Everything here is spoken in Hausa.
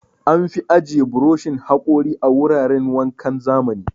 An fi ajiye burushin haƙori a wuraran wankan zamani.